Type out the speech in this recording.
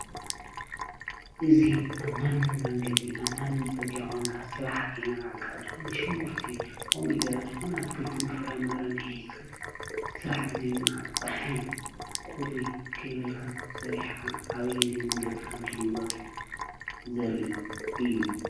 እዙ ኣብ ማነም መንገዲ ኣብ ማነም ጽጋ ኾንካ ሥራሕ ኸይነዓካ ዝኾነሹምጕርቲ ኦሚ ደር ዝኾነ ኣትክልትን ፍራመረን ኂስካ ሥራሕ ብዘይምንዓቕ ፀሓይ ቊሪ ከይበልካ ሰሪሕኻ ኣበዪ ናይ መንገዲ ከምትልወጥ ዘርኢ እዩ።